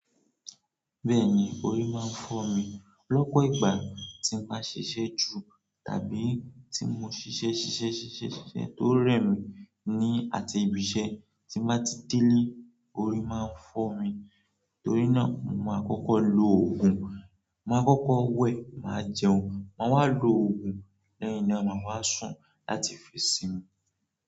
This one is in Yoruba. Bẹ́ẹ̀ni, orí máa ń fọ́ mi. Lọ́pọ̀ ìgbà tí n bá ṣiṣẹ́ ju tàbí tí mo ṣiṣẹ́ ṣiṣẹ́ ṣiṣẹ́ ṣiṣẹ́ tó rẹ̀ mi ni àti ibiṣẹ́ tí mo bá ti délé, orí máa ń fọ́ mi. Torí náà, mo máa kọ́kọ́ lo òògùn, mo máa kọ́kọ́ wẹ, màá jẹun, máa wá lo òògùn lẹ́yìn náà máa wá sùn láti fi sinmi.